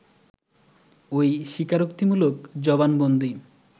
ওই স্বীকারোক্তিমূলক জবানবন্দি